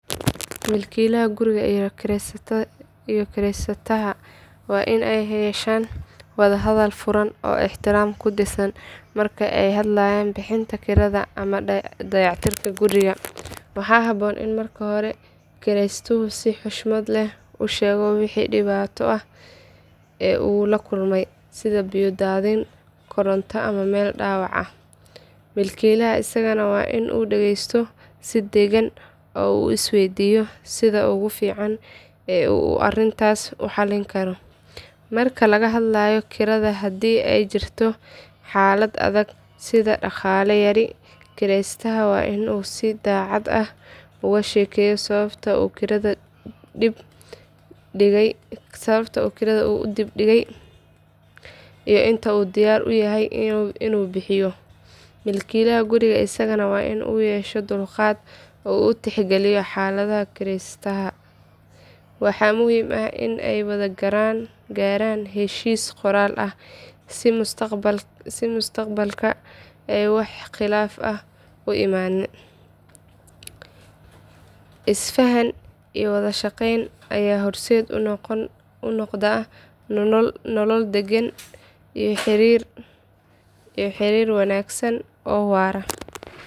Milkiilaha guriga iyo kireystaha waa in ay yeeshaan wada hadal furan oo ixtiraam ku dhisan marka ay ka hadlayaan bixinta kirada ama dayactirka guriga. Waxaa habboon in marka hore kireystuhu si xushmad leh u sheego wixii dhibaato ah ee uu la kulmay sida biyo daadin, koronto ama meel dhaawac ah. Milkiilaha isagana waa in uu dhegaysto si degan oo uu is weydiiyo sida ugu fiican ee uu arrintaas u xallin karo. Marka laga hadlayo kirada, haddii ay jirto xaalad adag sida dhaqaale yari, kireystaha waa in uu si daacad ah uga sheekeyo sababta uu kirada u dib dhigay iyo inta uu diyaar u yahay in uu bixiyo. Milkiilaha guriga isagana waa in uu yeesho dulqaad oo uu tixgeliyo xaaladda kireystaha. Waxa muhiim ah in ay wada gaaraan heshiis qoraal ah si mustaqbalka ay wax khilaaf ah u imaanin. Is fahan iyo wadashaqayn ayaa horseed u noqda nolol deggan iyo xiriir wanaagsan oo waara.